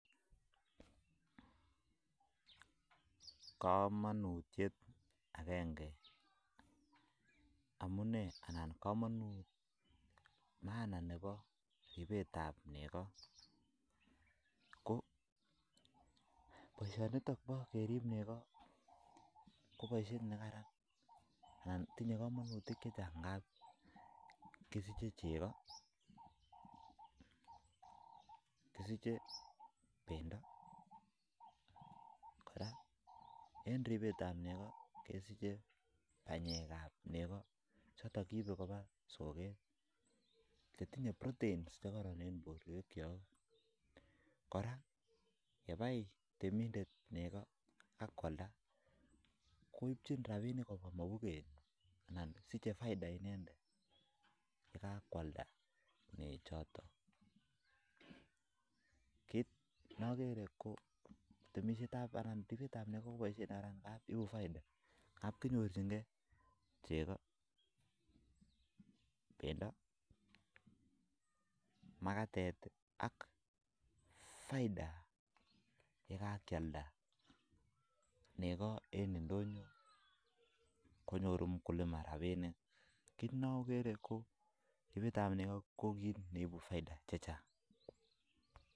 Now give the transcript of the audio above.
Kamanutiet agenge anan maana Nebo ribet ab nego KO boisyoni bo kerib nego kotinye kamanutiet amu kisiche cheko pendo ak tinye pendo nyi [proteins] ak tinye kamanutik chechang kou kenyor robinik eng mapuket ako ibu faidha chechang mising yapkealda